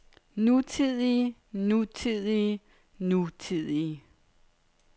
nutidige nutidige nutidige